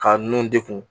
Ka nun degun